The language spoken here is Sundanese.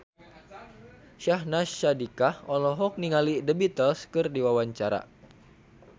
Syahnaz Sadiqah olohok ningali The Beatles keur diwawancara